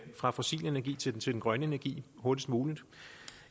fra fossil energi til til grøn energi hurtigst muligt